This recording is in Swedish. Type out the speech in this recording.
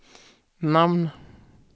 namn